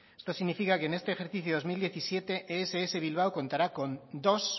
esto significa que en este ejercicio de dos mil diecisiete ess bilbao contará con dos